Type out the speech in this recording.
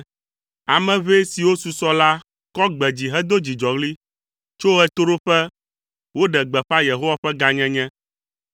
Ame ʋɛ siwo susɔ la kɔ gbe dzi hedo dzidzɔɣli; tso ɣetoɖoƒe woɖe gbeƒã Yehowa ƒe gãnyenye,